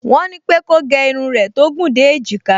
Wọ́n ní pé kó gẹ irun rẹ̀ tó gùn dé èjìká